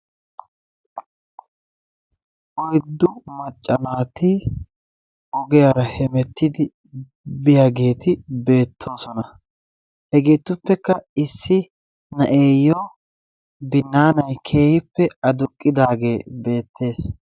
Oyddu macca naati ogiyaara hemettidi biyaageeti beettoosona hegeetupekka issi na'eeyoo binnaanay keehippe aduqidaagee beetes.